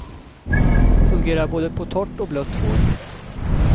Fungerar både på torrt och blött hår.